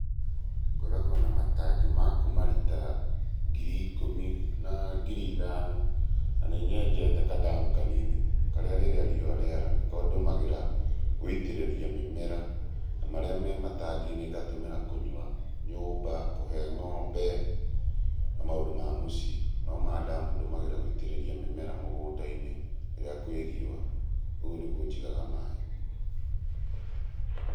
Ngoragwo na matangi ma kuma rita ngiri ikũmi na ngiri ithano na nĩ nyenjete kadamu kanini karĩa rĩrĩa riũa rĩara nĩko ndũmagĩra gũitĩrĩria mũmera. Na marĩa me matangi-inĩ ngatũmĩra kũnyua nyũmba, kũhe ng'ombe, na maũndũ ma mũciĩ. No ma ndamu ndũmagĩra gũitĩrĩria mĩmera mũgundainĩ rĩrĩa kwi riũa. Ũguo nĩguo njigaga maaĩ.